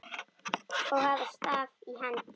og hafa staf í hendi.